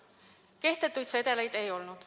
Kehtetuid sedeleid ei olnud.